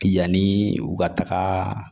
Yanni u ka taga